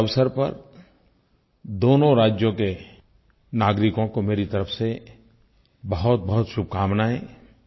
इस अवसर पर दोनों राज्यों के नागरिकों को मेरी तरफ़ से बहुतबहुत शुभकामनाएं